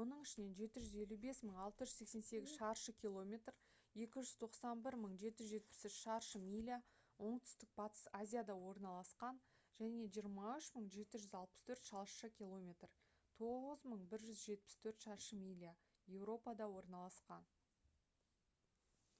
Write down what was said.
оның ішінен 755 688 шаршы километр 291 773 шаршы миля оңтүстік батыс азияда орналасқан және 23 764 шаршы километр 9174 шаршы миля еуропада орналасқан